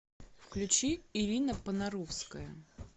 включи ирина понаровская